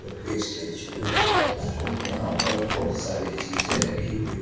यह स्टेच्यु है और यहाँ पे बहुत सारी चीजे रखी हुई है।